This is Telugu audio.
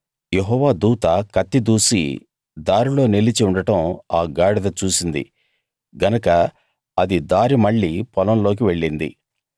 యెహోవా దూత కత్తి దూసి దారిలో నిలిచి ఉండడం ఆ గాడిద చూసింది గనక అది దారి మళ్ళి పొలంలోకి వెళ్ళింది బిలాము గాడిదను దారిలోకి మళ్ళించాలని దాన్ని కొట్టాడు